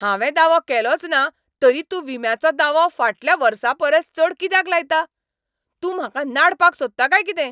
हांवें दावो केलोचना तरी तूं विम्याचो दावो फाटल्या वर्सापरस चड कित्याक लायता? तूं म्हाका नाडपाक सोदता काय कितें?